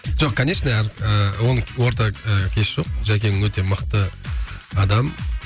жоқ конечно ы оның орта ы кеші жоқ жәкең өте мықты адам